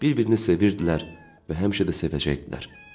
Bir-birini sevirdilər və həmişə də sevəcəkdilər.